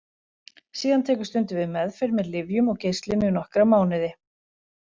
Síðan tekur stundum við meðferð með lyfjum og geislum í nokkra mánuði.